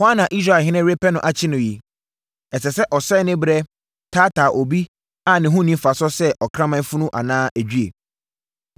“Hwan na Israelhene repɛ no akye no yi? Ɛsɛ sɛ ɔsɛe ne berɛ taataa obi a ne ho nni mfasoɔ sɛ ɔkraman funu anaa edwie?